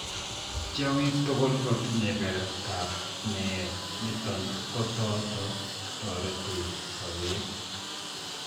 Tiongik tuguk kotinye kerert ab met niton kotot kotoret sobeet